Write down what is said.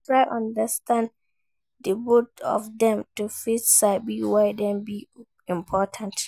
Try understand di both of dem to fit sabi why dem de important